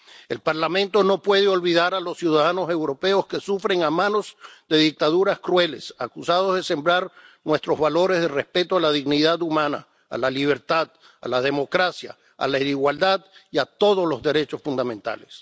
El Parlamento no puede olvidar a los ciudadanos europeos que sufren a manos de dictaduras crueles, acusados de sembrar nuestros valores de respeto de la dignidad humana, de la libertad, de la democracia, de la igualdad y de todos los derechos fundamentales.